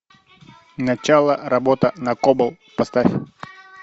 начало работа на кобол поставь